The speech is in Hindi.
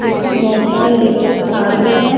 जिसमे बहुत सारे इलेक्ट्रिक कार भी है।